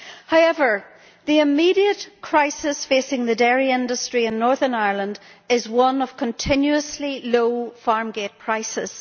However, the immediate crisis facing the dairy industry in Northern Ireland is one of continuously low farm gate prices.